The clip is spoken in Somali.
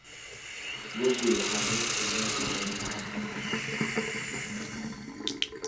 google xagee ku nooshahay sarah xasan